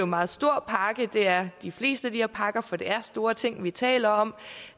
meget stor pakke det er de fleste af de her pakker for det er store ting vi taler om